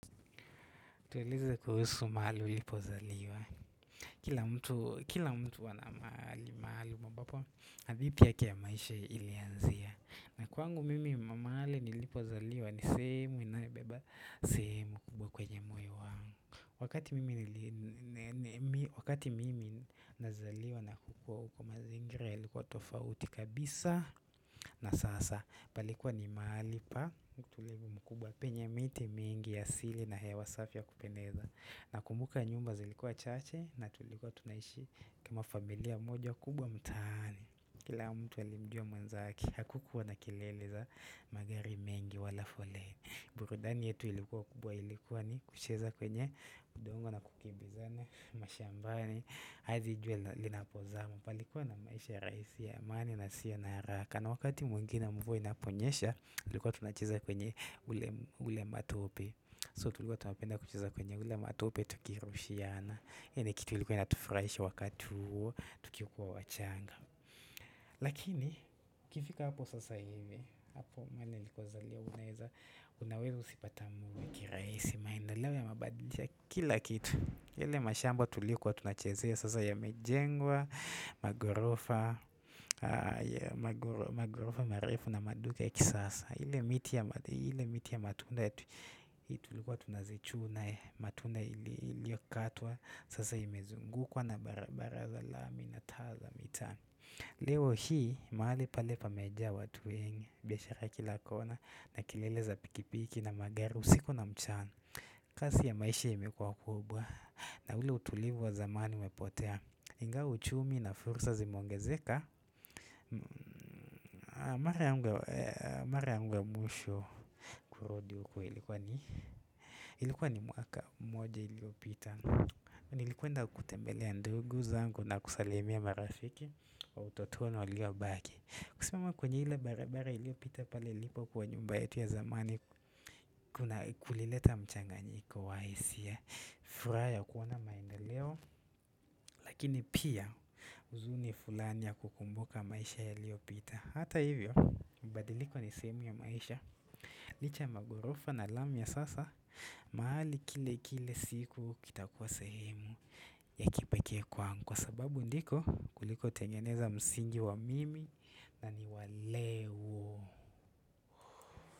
Tueleze kuhusu mahali ulipo zaliwa. Kila mtu ana maali, maali ambapo, hadhithi yake ya maisha ilianzia. Na kwangu mimi maali nilipo zaliwa, ni sehemu inaebeba, sehemu kwenye moyo wangu. Wakati mimi nazaliwa na kukua uko mazingira, yalikuwa tofauti kabisa na sasa. Palikuwa ni mahali pa mkutulegu mkubwa penye miti mingi ya asili na hewa safi ya kupendeza na kumbuka nyumba zilikuwa chache na tulikuwa tunaishi kama familia moja kubwa mtaani kila mtu ali mjua mwenzake hakukuwa na kilele za magari mengi wala foleni burudani yetu ilikuwa kubwa ilikuwa ni kucheza kwenye udongo na kukibizana mashambani hazi jua li na pozama palikuwa na maisha raisi amani na yasiyo naharaka na wakati mwengi ne mvua inaponyesha, tulikuwa tunacheza kwenye ule matope. So, tulikuwa tunapenda kucheza kwenye ule matope tukirushiana. Yani kitu ilikuwa inatufraisha wakatu huo, tukikuwa wachanga. Lakini, kifika hapo sasa hivi, hapo mwene likuwa zalia, unaweza usipata mwuhu, kiraisi, maendeleo yamebadilisha, kila kitu. Ile mashamba tulikuwa tunachezea sasa ya mejengwa, magorofa, marefu na maduka ya kisasa ile miti ya matunda ya tulikuwa tunazichuna, matunda ili okatwa Sasa imezungukwa na bara bara za la mi na taa za mitaani Leo hii, mahali pale pa mejaa watu wengi, biashara kila kona na kelele za pikipiki na magari, usiku na mchana kasi ya maisha imekuwa kubwa na ule utulivu wa zamani umepotea iNgawa uchumi na fursa zimeongezeka Mara yangu ya mwisho kurudi uko ilikuwa ni Ilikuwa ni mwaka moja iliopita Nilikuenda kutembelea ndugu zangu na kusalimia marafiki wa utotoni waliobaki kusimama kwenye hile barabara iliopita pale ilipo kuwa nyumba yetu ya zamani Kuna kulileta mchanganyiko wa isia furaha ya kuona maendeleo lakini pia uzuni fulani ya kukumbuka maisha ya lio pita Hata hivyo mabadiliko ni sehemu ya maisha Licha magorofa na lami ya sasa mahali kile kile siku kita kuwa sehemu ya kipekee kwa Kwa sababu ndiko kuliko tengeneza msingi wa mimi na ni waleo.